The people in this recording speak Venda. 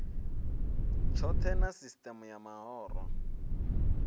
tshohe na sisieme ya mahoro